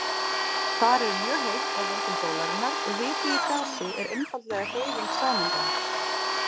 Þar er mjög heitt af völdum sólarinnar og hiti í gasi er einfaldlega hreyfing sameindanna.